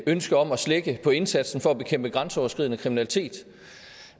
ønske om at slække på indsatsen for at bekæmpe grænseoverskridende kriminalitet